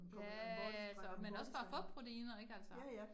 Ja altså, men også for at få proteiner ik altså